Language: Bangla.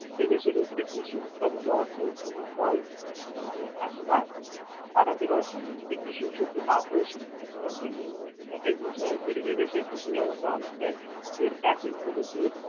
এদেশের কৃষির উৎপাদিত অর্থ খুবই ফল সোনালী আস্পাত, ভারতের অর্থনৈতিক কৃষির সূচনা অপরিসীম কিন্তু অত্যন্ত বিষয় যে এদেশে কৃষি ব্যবস্থা অনেকটাই সেই প্রাচীন পদ্ধতি।